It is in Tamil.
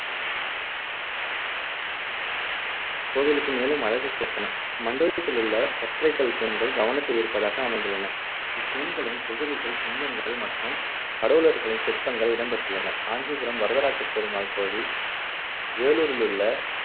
கோவிலுக்கு மேலும் அழகு சேர்த்தன. மண்டபத்திலுள்ள ஒற்றைக்கல் தூண்கள் கவனத்தை ஈர்ப்பதாக அமைந்துள்ளன. இத்தூண்களின் குதிரைகள், சிங்கங்கள் மற்றும் கடவுளர்களின் சிற்பங்கள் இடம் பெற்றுள்ளன. காஞ்சிபுரம் வரதராஜ பெருமாள் கோவில், வேலூரிலுள்ள